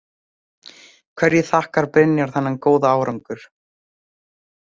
Hverju þakkar Brynjar þennan góða árangur?